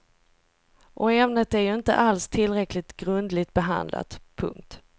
Och ämnet är ju inte alls tillräckligt grundligt behandlat. punkt